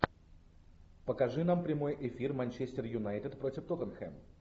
покажи нам прямой эфир манчестер юнайтед против тоттенхэм